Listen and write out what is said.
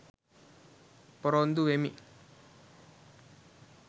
පොරොන්දු වෙමි